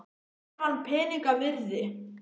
Er hann peninganna virði?